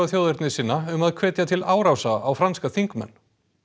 þjóðernissinna um að hvetja til árása á franska þingmenn